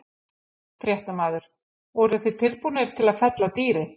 Fréttamaður: Voruð þið tilbúnir til að fella dýrið?